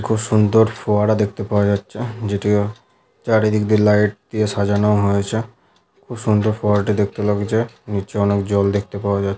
খুব সুন্দর ফোয়ারা দেখতে পাওয়া যাচ্ছে যেটি ও চারিদিক দিয়ে লাইট দিয়ে সাজানো হয়েছে খুব সুন্দর ফোয়ারাটি দেখতে লাগছে নিচে অনেক জল দেখতে পাওয়া যাচ--